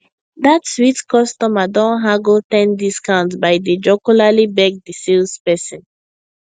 dat sweet customer don haggle ten discount by dey jocularly beg di sales person